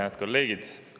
Head kolleegid!